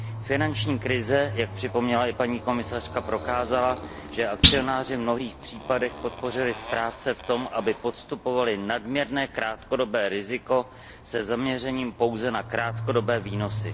Finanční krize, jak připomněla i paní komisařka, prokázala, že akcionáři v mnohých případech podpořili správce v tom, aby podstupovali nadměrné krátkodobé riziko se zaměřením pouze na krátkodobé výnosy.